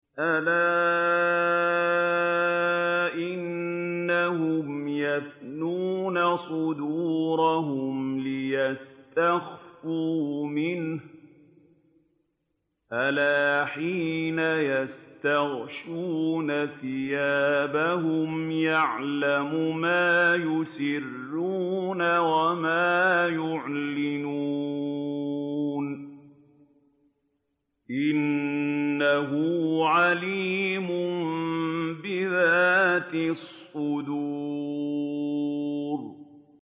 أَلَا إِنَّهُمْ يَثْنُونَ صُدُورَهُمْ لِيَسْتَخْفُوا مِنْهُ ۚ أَلَا حِينَ يَسْتَغْشُونَ ثِيَابَهُمْ يَعْلَمُ مَا يُسِرُّونَ وَمَا يُعْلِنُونَ ۚ إِنَّهُ عَلِيمٌ بِذَاتِ الصُّدُورِ